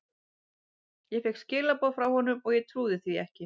Ég fékk skilaboð frá honum og ég trúði því ekki.